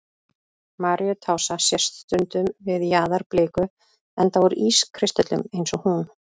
Maríutása sést stundum við jaðar bliku, enda úr ískristöllum eins og hún.